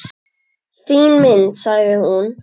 Fín mynd, sagði hún.